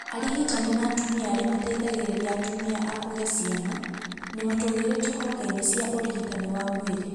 Arigitani na atumia arĩa mateithagĩrĩria atumia a kũgĩa ciana nĩ matũgĩrĩtio honge-inĩ cia ũrigitani wa mwĩrĩ